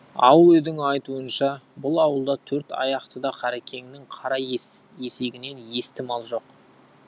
ауыл үйдің айтуынша бұл ауылда төрт аяқтыда қарекеңнің қара есегінен есті мал жоқ